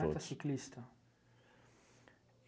é ciclista?